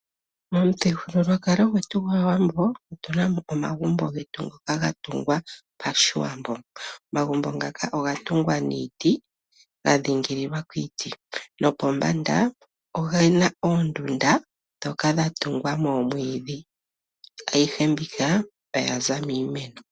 Momuthigululwakalo gwetu gwAawambo otu na omagumbo getu ha ga tungwa pashiwambo . Omagumbo ngaka oga tungwa niiti ano ga dhingolokwa kiiti .Pombanda oge na oondunda ndhoka dha tungwa momwiidhi . Ayihe mbika oya za miimeno.